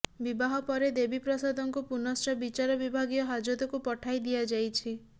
ବିବାହ ପରେ ଦେବୀପ୍ରସାଦଙ୍କୁ ପୁନଶ୍ଚ ବିଚାର ବିଭାଗୀୟ ହାଜତକୁ ପଠାଇ ଦିଆଯାଇଛି